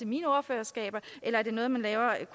mine ordførerskaber eller er det noget man